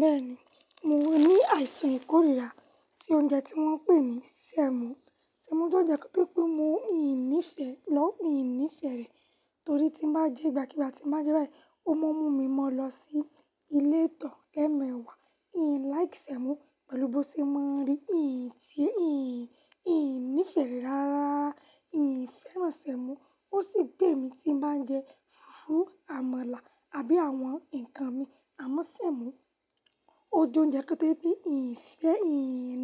Bẹ́ẹ̀ni, mo ní àìsàn ìkórira sí oúnjẹ tí wọ́n ń pè ní sẹ̀mọ́. Sẹ̀mọ́ jẹ́ ẹni tó pé ìn nìfẹ́ re, wo, mi ò ní ìfẹ́ rẹ̀ torí tí bá jẹ́, igba kigba tí bá jẹ́ báyìí, ó máa ń mú mi mọ́ lọ sí ilé ìtọ̀ lẹ́mẹ̀wà. In like sẹ̀mọ́ pẹ̀lú bó ti máa ń rí. Mì ì ní ìfẹ́ rẹ̀ rárá. Mi ò fẹ́ràn sẹ̀mọ́. Ó sì pay mí tí bá ń jẹ fùfú, àmàlà àbí àwọn ǹkan mi, àmọ́ sẹ̀mọ́, ó jẹ́ ounjẹ kan tó je pé ìn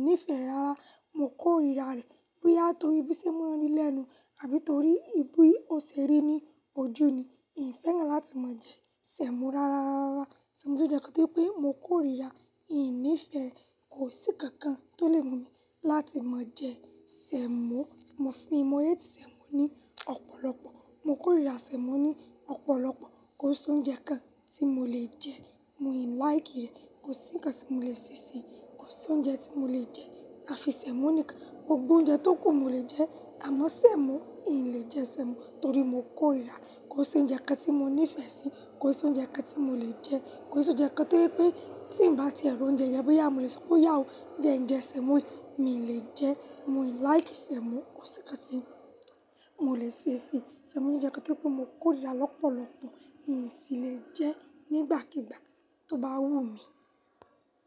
nifẹ́ re rara Mo kórira rẹ̀ bóyá torí bí o ss máa ń rí lẹ́nu àbí torí bi ó ṣe rí ní ojú ni. Mi ò fẹ́ràn láti máa jẹ sẹ̀mọ́ rárá. Sẹ̀mọ́ jẹ́ ounjẹ kan tó pé mo kórira, mi ò ní ìfẹ́ rẹ̀. Kò sí ǹkan kan tó lè mú mi láti máa jẹ sẹ̀mọ́. Mo hate sẹ̀mọ́ ní ọ̀pọ̀lọpọ̀. Mo kórira sẹ̀mọ́ ní ọ̀pọ̀lọpọ̀. Kò sí oúnjẹ kan tí mo lè jẹ. Mi ò like rẹ̀. Kò sí ǹkan tí mo lè ṣe sí i. Kò sí oúnjẹ tí mio lè jẹ afi sẹ̀mọ́ nìkan. Gbogbo oúnjẹ tó kù mo lè jẹ àmọ́ sẹ̀mọ́, mi ò lè jẹ sẹ̀mọ́ torí mo kórira. Kò sí oúnjẹ kan tí mo nífẹ̀ẹ́ sí i. Kò sí oúnjẹ kan tí mo lè jẹ. Kò se oúnjẹ kan to je pé tí ń bá ti ń ri oúnjẹ je, boya mo lè sọ pé oyá o, jẹ ǹjẹ sẹ̀mọ́ yii, mi lè jẹ. Mo ò like sẹ̀mọ́. Kò sí ǹkan tí mo lè ṣe sí i. Sẹ̀mọ́ jẹ́ ounjẹ kan tó je pé mo kórira lọ́pọ̀lọpọ̀. Mì sì lè jẹ́ nígbàkigbà tó bá wú mi.